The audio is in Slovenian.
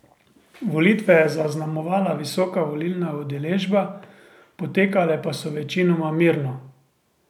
Volitve je zaznamovala visoka volilna udeležba, potekale pa so večinoma mirno.